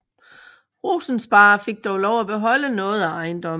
Rosensparre fik dog lov at beholde noget af ejendommen